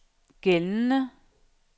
gældende